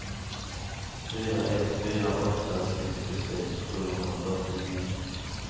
fyra ett fyra åtta sextiosex sjuhundrafyrtionio